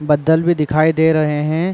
बद्दल भी दिखाई दे रहे हैं।